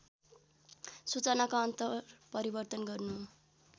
सूचनाको अन्तरपरिवर्तन गर्नु हो